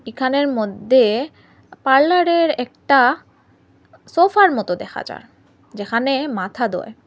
এখানের মধ্যে পার্লারের একটা সোফার মত দেখা যার যেখানে মাথা ধোয়।